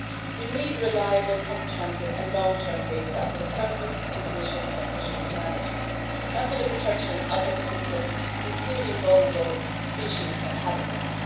We need reliable, comprehensive and long term data for the purpose of decisions on fisheries management and for the protection of ecosystems, including vulnerable species and habitats.